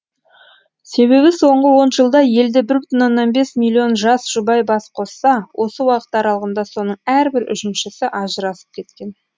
себебі соңғы он жылда елде бір бүтін оннан бес миллион жас жұбай бас қосса осы уақыт аралығында соның әрбір үшіншісі ажырасып кеткен